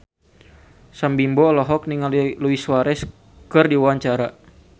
Sam Bimbo olohok ningali Luis Suarez keur diwawancara